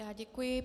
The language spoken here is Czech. Já děkuji.